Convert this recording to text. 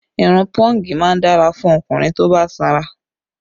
Irun pọ́ǹgì má ń dára fún ọkùnrin tó bá sanra